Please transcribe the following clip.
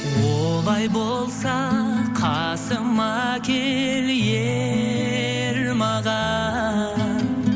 олай болса қасыма кел ер маған